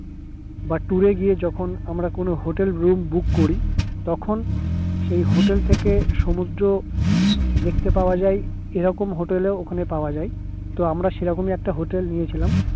বা tour এ গিয়ে যখন আমরা কোনো hotel roombook করি তখন সেই hotel থেকে সমুদ্র দেখতে পাওয়া যাই সেরকম hotel ও পাওয়া যাই